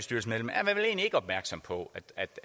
opmærksom på